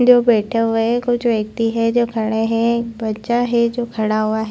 जो बैठा हुआ है कुछ व्यक्ति जो खड़े है एक बच्चा है जो खड़ा हुआ हैं।